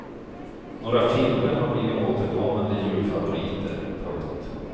Några filmer har blivit återkommande julfavoriter. punkt